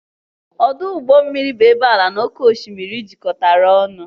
Ọdụ ụgbọ mmiri bụ ebe ala na oké osimiri jikọtara ọnụ